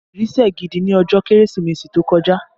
Ìrì sẹ̀ gidi ní ọjọ́ Kérésìmesì tó kọjá